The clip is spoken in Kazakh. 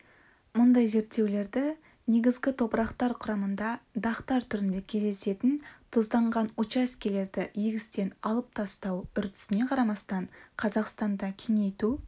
мұндай зерттеулерді негізгі топырақтар құрамында дақтар түрінде кездесетін тұзданған учаскелерді егістен алып тастау үрдісіне қарамастан қазақстанда кеңейту